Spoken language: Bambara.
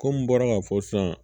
Kɔmi n bɔra k'a fɔ sisan